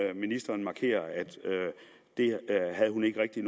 at ministeren markerer at hun ikke rigtig